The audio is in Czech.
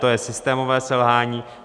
To je systémové selhání.